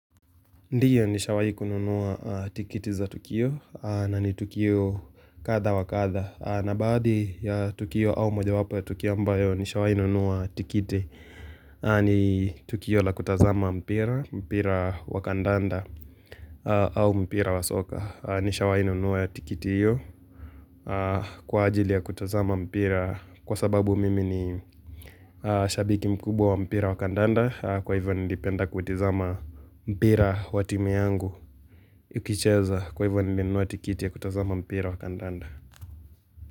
Ndiyo nishawai kununua aa tikiti za Tukio aa na ni Tukio kadha wa kadha aa na baadhi ya Tukio au mojawapo ya Tukio ambayo nishawai nunua tikiti ni tukio la kutazama mpira, mpira wa kandanda au mpira wa soka nishawai nunua tikiti hiyo kwa ajili ya kutazama mpira Kwa sababu mimi ni aa shabiki mkubwa wa mpira wakandanda Kwa hivyo nilipenda kuitizama mpira wa timu yangu Ukicheza kwa hivyo nimenunua tikiti ya kutazama mpira wa kandanda.